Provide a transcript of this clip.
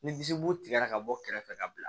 Ni disi bo tigɛra ka bɔ kɛrɛfɛ ka bila